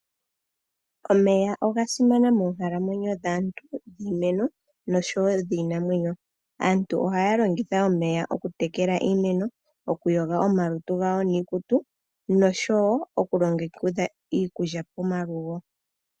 Omeya ogasimana moonkalamwenyo dhaantu, dhiimeno noshowo dhiinamwenyo. Aantu ohaya longitha omeya okutekela iimeno, okuyoga omalutu gawo niikutu noshowo okulongekidha iikulya pomalugo.